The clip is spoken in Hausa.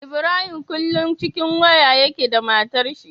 Ibrahim kullun cikin waya yake da matar shi